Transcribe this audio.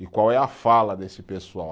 E qual é a fala desse pessoal?